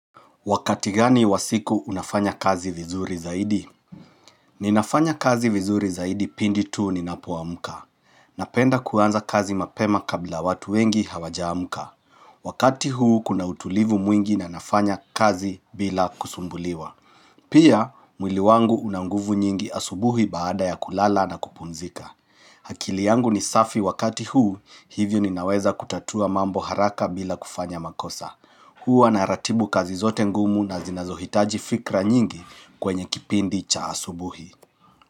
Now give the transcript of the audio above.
Wakati gani wasiku unafanya kazi vizuri zaidi? Ninafanya kazi vizuri zaidi pindi tu ninapoa mka. Napenda kuanza kazi mapema kabla watu wengi hawaja amka. Wakati huu kuna utulivu mwingi na nafanya kazi bila kusumbuliwa. Pia, mwili wangu unanguvu nyingi asubuhi baada ya kulala na kupumzika. Akili yangu ni safi wakati huu hivyo ninaweza kutatua mambo haraka bila kufanya makosa. Huwa na ratibu kazi zote ngumu na zinazohitaji fikra nyingi kwenye kipindi cha asubuhi.